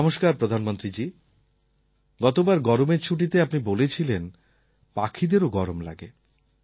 নমস্কার প্রধানমন্ত্রীজী গতবার গরমের ছুটিতে আপনি বলেছিলেন পাখিদেরও গরম লাগে